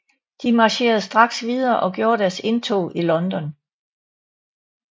De marcherede straks videre og gjorde deres indtog i London